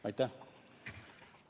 Aitäh!